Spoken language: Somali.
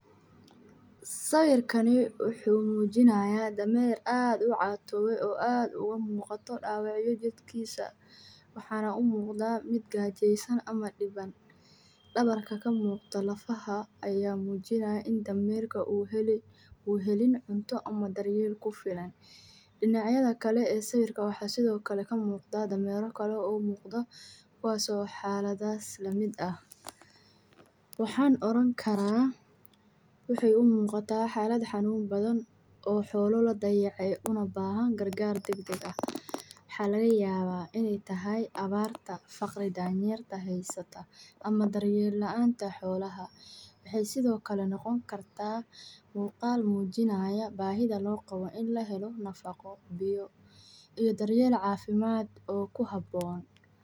Xoolaha nool ee aad u dhuudhuuban, oo aan cunto ku filan helin, waxay muujiyaan calaamado cad oo macaluusha ah sida xididdooyinka fagaareed ee soo baxaya jirkooda, indhahooda oo aad u qallalan iyo murqaha oo aan xoog lahayn, maadaama ay ku nool yihiin nafaqo la’aanta oo ay ku sii xumaadaan cuntada biyaha iyo dheecaanada la’aanta, taas oo keenta inay awood u lahayn inay iskaga soo bixiyaan hawalaha iyo xanuunka jirka.